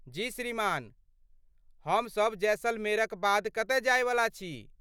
जी श्रीमान, हम सभ जैसलमेरक बाद कतय जायवला छी।